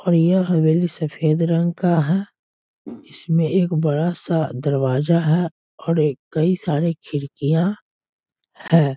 और ये हवेली सफेद रंग का है। इसमें एक बड़ा-सा दरवाजा है और एक कई सारे खिड़कियां है।